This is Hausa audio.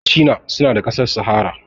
Machina suna da ƙasar sahara